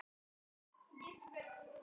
Þetta hefur aldrei tekist betur.